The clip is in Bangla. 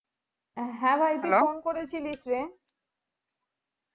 হ্যাঁ ভাইটি phone করেছিলিসরে